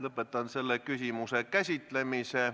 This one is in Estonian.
Lõpetan selle küsimuse käsitlemise.